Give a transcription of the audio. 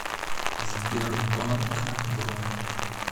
сбербанк бронь